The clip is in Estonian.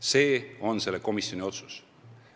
See on selle komisjoni otsus.